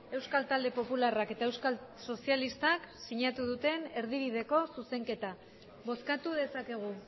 euskal talde popularrak eta euskal sozialistak sinatu duten erdibideko zuzenketa bozkatu dezakegu